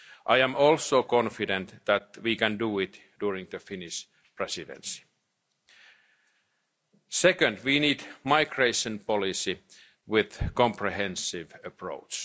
I am also confident that we can do it during the Finnish Presidency. Secondly, we need a migration policy with a comprehensive